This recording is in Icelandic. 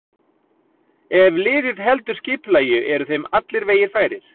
Ef liðið heldur skipulagi eru þeim allir vegir færir.